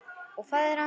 Og faðir hans?